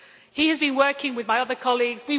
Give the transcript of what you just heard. he has been working with my other colleagues.